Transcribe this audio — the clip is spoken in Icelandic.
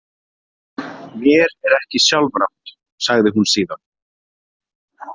Mér er ekki sjálfrátt, sagi hún síðan.